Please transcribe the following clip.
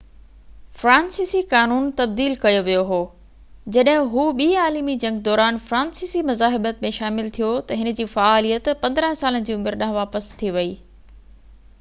فرانسيسي قانون تبديل ڪيو ويو هو جڏهن هُو ٻي عالمي جنگ دوران فرانسيسي مزاحمت ۾ شامل ٿيو ته هِن جي فعاليت 15سالن جي عمر ڏانهن واپس ٿي وئي